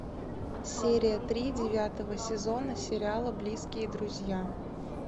серия три девятого сезона сериала близкие друзья